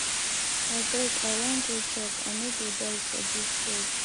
abeg i wan go chop i no go die for dis job